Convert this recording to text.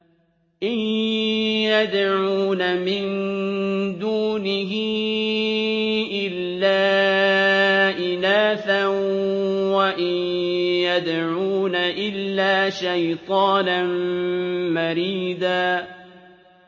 إِن يَدْعُونَ مِن دُونِهِ إِلَّا إِنَاثًا وَإِن يَدْعُونَ إِلَّا شَيْطَانًا مَّرِيدًا